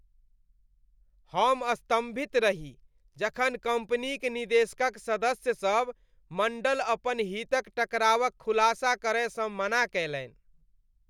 हम स्तंभित रही जखन कम्पनीक निदेशक क सदस्य सब मण्डल अपन हितक टकरावक खुलासा करयसँ मना कयलनि स।